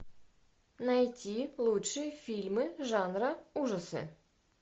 найти лучшие фильмы жанра ужасы